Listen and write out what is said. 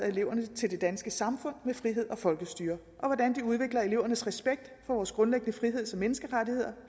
eleverne til det danske samfund med frihed og folkestyre og hvordan de udvikler elevernes respekt for vores grundlæggende friheds og menneskerettigheder